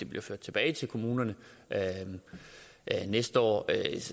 bliver ført tilbage til kommunerne næste år